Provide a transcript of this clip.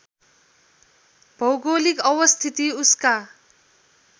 भौगोलिक अवस्थिति उसका